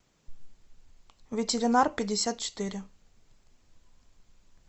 ветеринар пятьдесят четыре